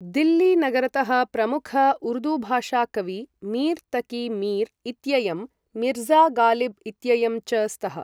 दिल्ली नगरतः प्रमुख उर्दूभाषा कवी मीर् तकी मीर् इत्ययं, मिर्ज़ा गालिब् इत्ययं च स्तः।